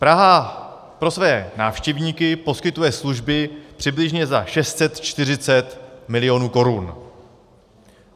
Praha pro své návštěvníky poskytuje služby přibližně za 640 milionů korun.